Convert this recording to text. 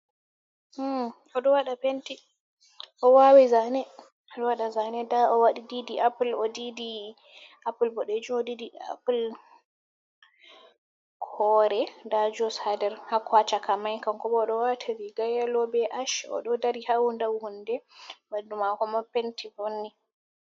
Odo wada penti, owawi zane, odo wada zane, da odidi apul, odid apul bodejum, odidi apul hore da jus haa der haa ko chakamai kankobo odo wata riga yelo be ash odo dari haadau hunde bandumako ma penti vonni.